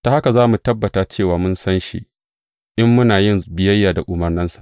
Ta haka za mu tabbata cewa mun san shi in muna yin biyayya da umarnansa.